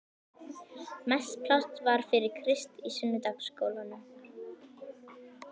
Mest pláss var fyrir Krist í sunnudagaskólanum.